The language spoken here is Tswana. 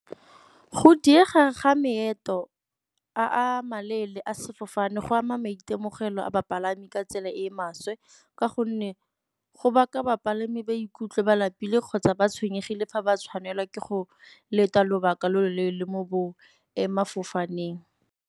Go diega ga maeto a maleele a sefofane go ama maitemogelo a bapalami ka tsela e e maswe ka gonne go baka bapalami ba ikutlwe ba lapile kgotsa ba tshwenyegile fa ba tshwanelwa ke go leta lobaka lo lo leele mo sefofaneng.